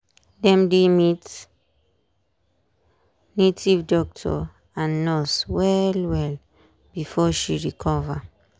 dem dey meet native doctor and nurse well well before she recover.